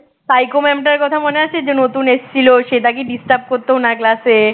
psycho mam টার কথা মনে আছে যে নতুন এসেছিল শ্বেতা কি disturb করতো ওনার class এ